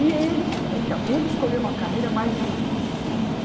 E ele então, ele escolheu uma carreira mais difícil, né?